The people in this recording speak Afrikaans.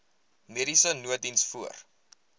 mediese nooddiens voor